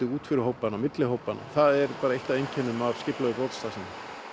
út fyrir hópana og milli hópanna það er eitt af einkennum af skipulagðri brotastarfsemi